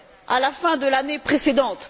à la fin de l'année précédente